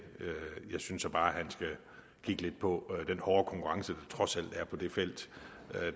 jeg synes så bare han skal kigge lidt på den hårde konkurrence der trods alt er på det felt